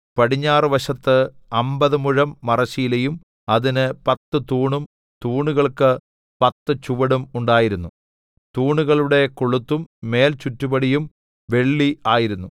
പടിഞ്ഞാറുവശത്ത് അമ്പത് മുഴം മറശ്ശീലയും അതിന് പത്ത് തൂണും തൂണുകൾക്ക് പത്ത് ചുവടും ഉണ്ടായിരുന്നു തൂണുകളുടെ കൊളുത്തും മേൽചുറ്റുപടിയും വെള്ളി ആയിരുന്നു